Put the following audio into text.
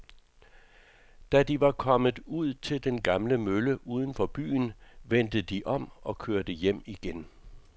Da de var kommet ud til den gamle mølle uden for byen, vendte de om og kørte hjem igen.